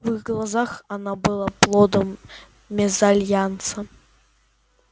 в их глазах она была плодом мезальянса